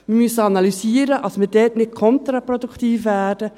Wir müssen analysieren, damit wir dort nicht kontraproduktiv werden.